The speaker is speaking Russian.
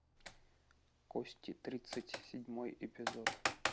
кости тридцать седьмой эпизод